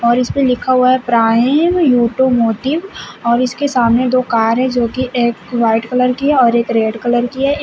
और इसपे लिखा हुआ है प्राइम योटोमोटिव और इसके सामने दो कार हैं जो कि एक वाइट कलर की है और एक रेड कलर की है।